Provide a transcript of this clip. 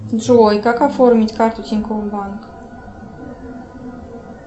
джой как оформить карту тинькофф банк